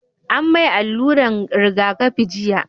an mai alluran rigakafi jiya